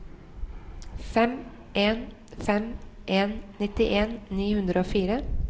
fem en fem en nittien ni hundre og fire